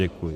Děkuji.